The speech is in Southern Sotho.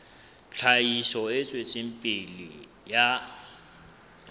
tlhahiso e tswetseng pele ya